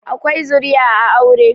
akwai zuriya a aure